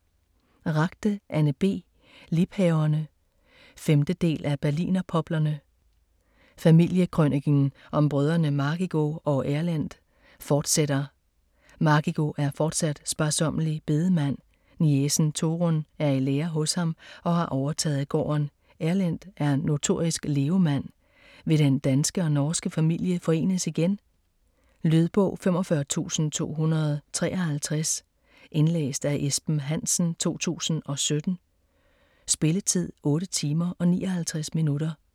Ragde, Anne B.: Liebhaverne 5. del af Berlinerpoplerne. Familiekrøniken om brødrene Margigo og Erlend fortsætter. Margigo er fortsat sparsommelig bedemand, niecen Torunn er i lære hos ham og har overtaget gården. Erlend er notorisk levemand. Vil den danske og norske familie forenes igen? Lydbog 45253 Indlæst af Esben Hansen, 2017. Spilletid: 8 timer, 59 minutter.